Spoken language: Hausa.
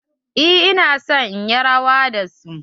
Eh ina son yin rawa da su.